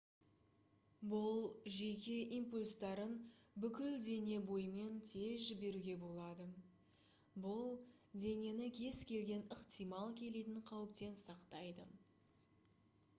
бұл жүйке импульстарын бүкіл дене бойымен тез жіберуге болады бұл денені кез-келген ықтимал келетін қауіптен сақтайды